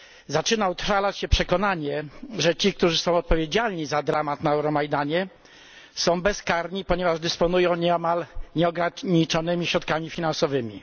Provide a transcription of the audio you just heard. Zaczyna utrwalać się przekonanie, że ci, którzy są odpowiedzialni za dramat na Euromajdanie, są bezkarni, ponieważ dysponują niemal nieograniczonymi środkami finansowymi.